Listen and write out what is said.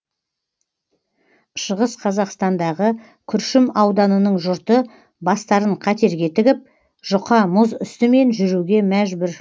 шығыс қазақстандағы күршім ауданының жұрты бастарын қатерге тігіп жұқа мұз үстімен жүруге мәжбүр